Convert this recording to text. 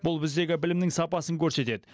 бұл біздегі білімнің сапасын көрсетеді